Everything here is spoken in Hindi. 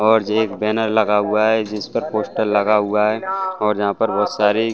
--और एक बैनर लगा हुआ है जिस पर पोस्टर लगा हुआ है और जहां पर बहुत सारी--